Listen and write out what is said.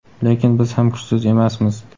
Lekin biz ham kuchsiz emasmiz.